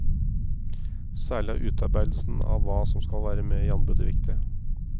Særlig er utarbeidelsen av hva som skal være med i anbudet viktig.